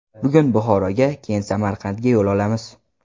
Bugun Buxoroga, keyin Samarqandga yo‘l olamiz.